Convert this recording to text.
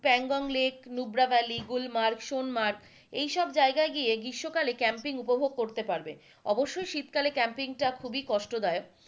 Pangong lake, Nubra valley, Gulmarg, Sonmarg এইসব জায়গায় গিয়ে গ্রীস্ম কালে ক্যাম্পিং উপভোগ করতে পারবে অবশ্যই শীতকালে ক্যাম্পিংটা খুবই কষ্টদায়ক,